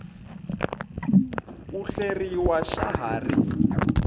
ku hleriwa xa ha ri